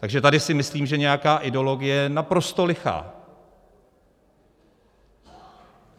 Takže tady si myslím, že nějaká ideologie je naprosto lichá.